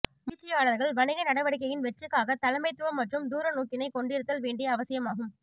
முயற்சியாளர்கள் வணிக நடவடிக்கையின் வெற்றிக்காக தலைமைத்துவம் மற்றும் தூரநோக்கினை கொண்டிருத்தல் வேண்டிய அவசியமாகும்